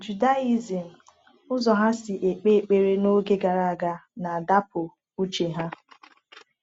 Judaism, ụzọ ha si ekpe ekpere n’oge gara aga, na-adọpụ uche ha.